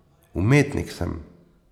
Umetnik sem.